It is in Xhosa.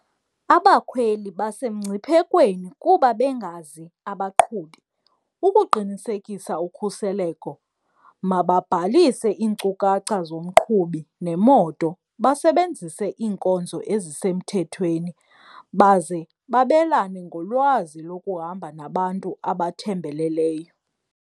Abakhweli basemngciphekweni kuba bengazi abaqhubi. Ukuqinisekisa ukhuseleko mababhalise iinkcukacha zomqhubi nemoto basebenzise iinkonzo ezisemthethweni baze babelane ngolwazi lokuhamba nabantu abathembeleleyo.